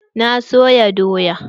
Na soya doya.